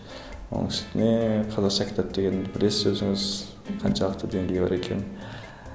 оның үстіне қазақша кітап дегенді білесіз өзіңіз қаншалықты деңгейі бар екенін